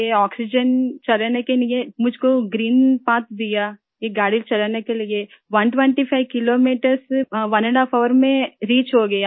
ये आक्सीजेन चलाने के लिए मुझको ग्रीन पथ दिया ये गाड़ी चलाने के लिए 125 kilometre one and a half hour में रीच हो गया